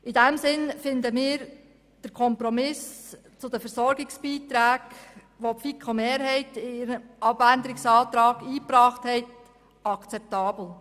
In diesem Sinn finden wir den Kompromiss zu den Versorgungsbeiträgen, welcher die FiKo-Mehrheit mit ihrer Planungserklärung eingebracht hat, akzeptabel.